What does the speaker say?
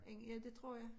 Inden ja det tror jeg